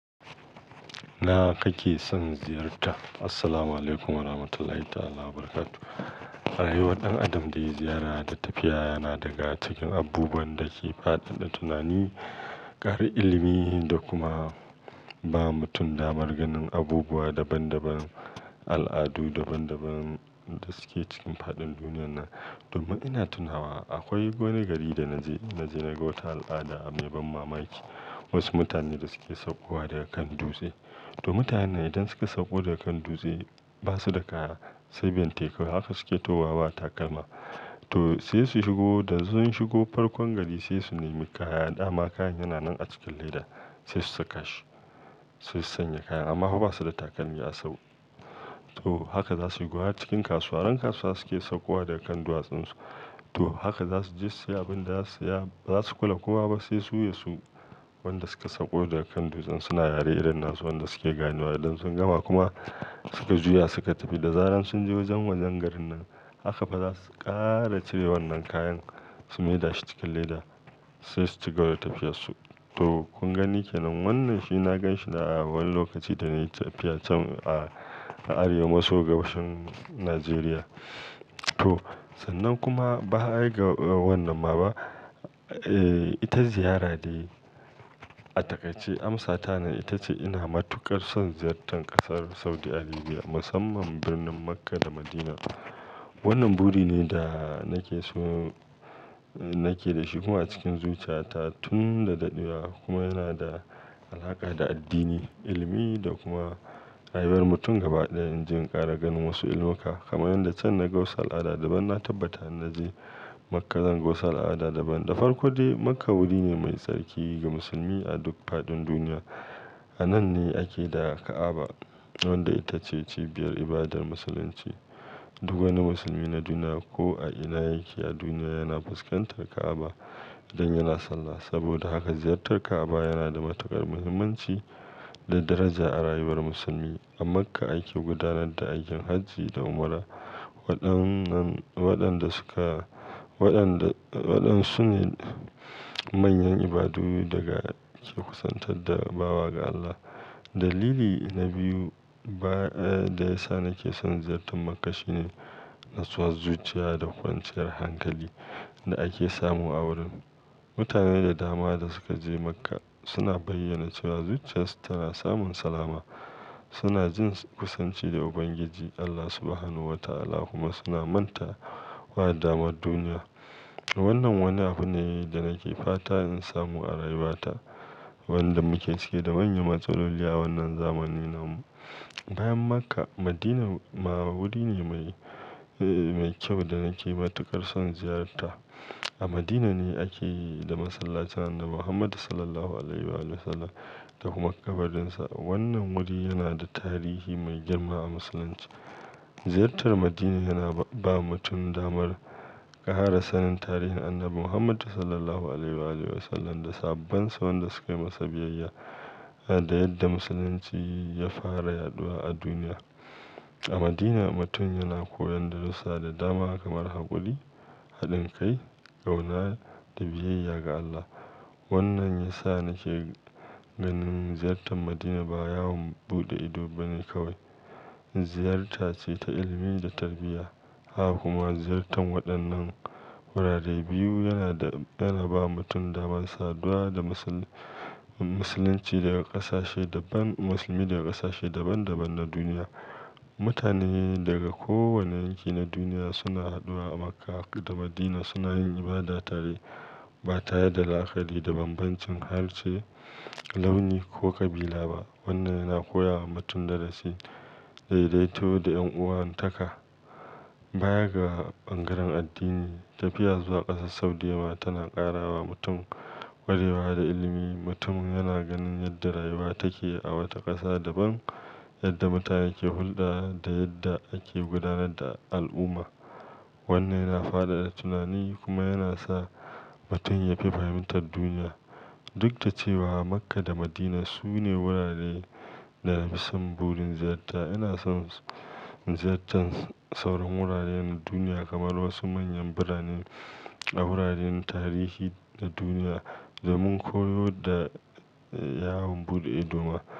Ina kake son ziyarta? Assalamualaikum Warahmatullahi Wabarakatuh. Rayuwar ɗan adam da ya ziyara da tafiya yana daga cikin abubuwan da ke faɗaɗa tunani, ƙara ilimi da kuma ba mutum damar ganin abubuwa daban-daban, al'adu daban-daban da suke cikin fadin duniyar nan. To ma ina tunawa akwai wani gari da na je, na je na ga wata al'ada a mai ban mamaki. Wasu mutane da suke saukowa daga kan dutse. To mutanen nan idan suka sauko daga kan dutse, ba su da kaya sai bentekawai haka suke tahowaba takalma. To sai su shigo da sun shigo farkon gari sai su nemi kaya. Dama kayan yana nan a cikin leda sai su saka shi, sai su sanya kaya amma fa ba su da takalmi a sau. To haka za su yi, wa cikin kasuwa. Ran kasuwa suke saukowa daga kan duwatsunsu. To haka za su je su siya abin da za su siya, ba za su kula kowa ba sai su ya su. Wanda suke saukowa daga kan dutsen suna yare irin nasu wanda suke ganewa idan sun gama kuma to mutanen nan idan suka sauko daga kan dutse, ba su da kaya sai bentekawai haka suke tahowaba takalma. To sai su shigo da sun shigo farkon gari sai su nemi kaya. Dama kayan yana nan a cikin leda sai su saka shi, sai su sanya kaya amma fa ba su da takalmi a sau. To haka za su yi, wa cikin kasuwa. Wannan wuri ne da nake so, nake da shi kuma a cikin zuciyata tun da daɗewa kuma yana da alaƙa da addini, ilimi da kuma rayuwar mutum gaba ɗaya. In je in ƙara ganin wasu ilimuka. Kamar yanda can na ga wasu al'ada daban na tabbata in naje Makkah zan ga wasu al'ada daban. Da farko dai Makkah wuri ne mai tsarki ga musulmi a duk faɗin duniya. A nan ne ake da Ka'aba wanda ita ce cibiyar ibadar musulunci. Duk wani musulmi na duniya ko a ina yake a duniya yana fuskantar Ka'aba idan yana sallah. Saboda haka ziyartar Ka'aba yana da matuƙar muhimmanci da daraja a rayuwar musulmi. A Makkah ake gudanar da aikin hajji da umra. Waɗannan, waɗanda suka, waɗanda, waɗansu ne manyan ibadu daga ke kusantar da bawa ga Allah. Dalili na biyu ba, eh da ya sa nake son ziyartar Makkah shine nutsuwar zuciya da kwanciyar hankali da ake samu a wurin. Mutane da dama da suka je Makkah suna bayyana cewa zuciyarsu tana samun salama. Suna jin kusanci da Ubangiji Allah Subhanahu Wa Ta'ala kuma suna manta wa damuwar duniya. Wannan wani abu ne da nake fata in samu a rayuwata. Wanda muke cike da manyan matsaloli a wannan zamanin nan. Bayan Makkah, Madinah ma wuri ne mai, eh mai kyau da nake matuƙar son ziyarta. A Madinah ne ake da masallacin Annabi Muhammadu Sallallahu Alaihi Wasallam da kuma ƙabarin sa. Wannan wuri yana da tarihi mai girma a musulunci. Ziyartar Madinah yana ba mutum damar ƙara sanin tarihin Annabi Muhammadu Sallallahu Alaihi Wasallam da sahabban sa wanda suka yi masa biyayya da yadda musulunci ya fara yaɗuwa a duniya. A Madinah mutum yana koyon darussa da dama kamar haƙuri, haɗin kai, ƙauna da biyayya ga Allah. Wannan ya sa nake ganin ziyartar Madinah ba yawon buɗe ido bane kawai, ziyarta ce ta ilimi da tarbiyya. Ha kuma ziyartar waɗannan wurare biyu yana, yana ba mutum damar saduwa da musul, musulunci daga ƙasashe daban, musulmi daga ƙasashe daban-daban na duniya. Mutane daga kowane yanki na duniya suna haɗuwa a Makkah da Madinah suna yin ibada tare ba tare da la'akari da bambancin harshe, launi ko ƙabila ba. Wannan yana koya wa mutum darasi, daidaituwa da ƴan'uwantaka. Baya ga bangaren addini, tafiya zuwa ƙasar Saudi ma tana ƙara wa mutum ƙwarewa da ilimi. Mutum yana ganin yadda rayuwa take a wata ƙasa daban, yadda mutane ke hulɗa da yadda ake gudanar da al'umma. Wannan yana faɗaɗa tunani kuma yana sa mutum ya fi fahimtar duniya. Duk da cewa Makkah da Madinah su ne wuraren da na fi son burin ziyarta, ina son ziyartar sauran wuraren duniya kamar wasu manyan biranen a wuraren tarihi na duniya domin koyo da yawon buɗe ido ma.